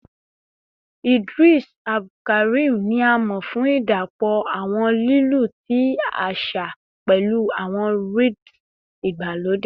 Idris Abdulkarim ni a mọ fun idapọ awọn lilu ti aṣa pẹlu awọn rhyths igbalode